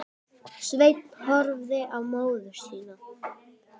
Sveinn horfði á móður sína.